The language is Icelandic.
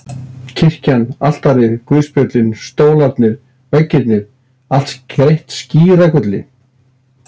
Kirkjan, altarið, guðspjöllin, stólarnir, veggirnir- allt skreytt skíragulli.